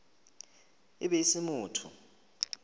e be e se motho